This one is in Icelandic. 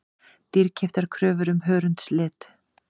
Dýrkeyptar kröfur um hörundslit